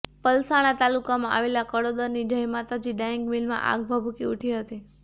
પલસાણા તાલુકામાં આવેલા કડોદરાની જય માતાજી ડાઇંગ મીલમાં આગ ભભૂકી ઉઠી હતી